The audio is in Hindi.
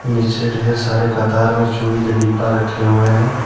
पीछे ढेर सारे कतार में चूड़ी का डिब्बा रखे हुवे हैं।